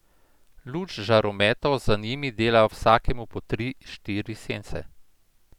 Luč žarometov za njimi dela vsakemu po tri, štiri sence.